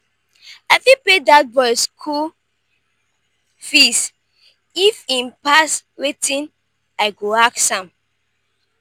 i fit pay dat boy school fees if im pass wetin i go ask am.